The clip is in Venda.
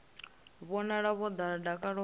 vhonala vho ḓala dakalo vha